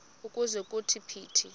ukuze kuthi phithi